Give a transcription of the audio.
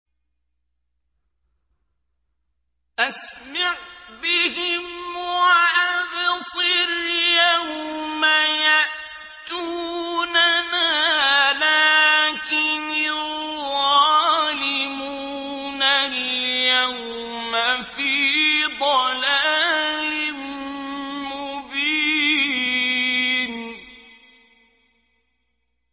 أَسْمِعْ بِهِمْ وَأَبْصِرْ يَوْمَ يَأْتُونَنَا ۖ لَٰكِنِ الظَّالِمُونَ الْيَوْمَ فِي ضَلَالٍ مُّبِينٍ